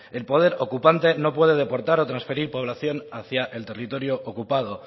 el poder ocupante no puede deportar o transferir población hacia el territorio ocupado